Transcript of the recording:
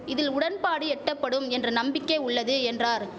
இதில் உடன்பாடு எட்டபடும் என்ற நம்பிக்கை உள்ளது என்றார்